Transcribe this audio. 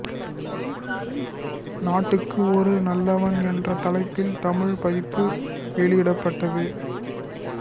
நாட்டுக்கு ஒரு நல்லவன் என்ற தலைப்பில் தமிழ் பதிப்பு வெளியிடப்பட்டது